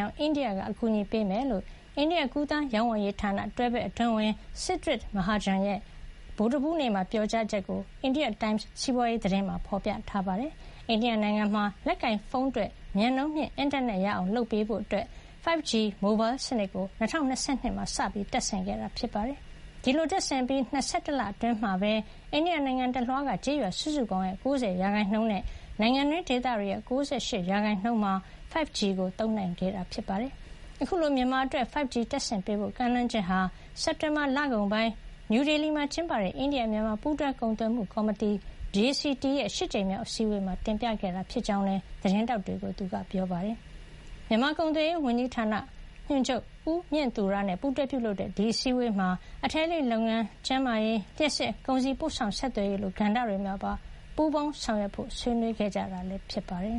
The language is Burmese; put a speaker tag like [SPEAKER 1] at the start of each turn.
[SPEAKER 1] အောင် အိန္ဒိယက အကူအညီပေးမယ်လို့ အိန္ဒိယ ကူးသန်း ရောင်းဝယ်ရေးဌာန တွဲဘက်အတွင်းဝန် Siddharth Mahajan က ဗုဒ္ဓဟူးနေ့မှာပြောကြောင်း အိန္ဒိယ Times စီးပွါးရေး သတင်းမှာ ဖေါ်ပြထားပါတယ်။ အိန္ဒိယနိုင်ငံမှာတော့ လက်ကိုင်ဖုံးအတွက် မြန်နှုန်းမြင့် အင်တာနက်ရအောင်လုပ်ပေးဖို့ 5G မိုဘိုင်းစနစ်ကို ၂၀၂၂ မှာ စတင်တပ်ဆင်ခဲ့တာ ဖြစ်ပါတယ်။ ဒီလိုတပ်ဆင်အပြီး ၂၁ လအတွင်းမှာပဲ အိန္ဒိယနိုင်ငံတလွှားက ကျေးရွာစုစုပေါင်းရဲ့ ၉၀ ရာခိုင်နှုန်းနဲ့ နိုင်ငံတွင်းဒေသတွေရဲ့ ၉၈ ရာခိုင်နှုန်းမှာ 5G သုံးနိုင်ခဲ့တာပါ။ အခုလို မြန်မာအတွက် 5G တပ်ဆင်ပေးဖို့ကမ်းလှမ်းချက်ဟာ စက်တင်ဘာလကုန်ပိုင်းက နယူးဒေလီမှာကျင်းပတဲ့ အိန္ဒိယ-မြန်မာ ပူးတွဲကုန်သွယ်မှုကော်မတီ JCT ရဲ့ ၈ ကြိမ်မြောက်အစည်းဝေးမှာ တင်ပြခဲ့တာဖြစ်ကြောင်းလည်း သတင်းထောက်တွေကို ပြောကြားခဲ့ပါတယ်။ မြန်မာကုန်သွယ်ရေးဝန်ကြီးဌာန ညွန်ချုပ် ဦးမြင့်သူရ နဲ့ ပူးတွဲပြုလုပ်တဲ့ ဒီအစည်းဝေးမှာ အထည်အလိပ်လုပ်ငန်း၊ ကျန်းမာရေး၊ လျှပ်စစ်၊ ကုန်စည်ပို့ဆောင် ဆက်သွယ်ရေးလို ကဏ္ဍတွေ မှာပါ ပူးပေါင်းဆောင်ရွက်ဖ
[SPEAKER 2] ို့ ဆွေးနွေးခဲ့ကြတာ ဖြစ်ပါတယ်